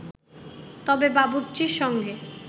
তবে বাবুর্চির সঙ্গে